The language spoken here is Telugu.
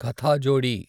కథాజోడి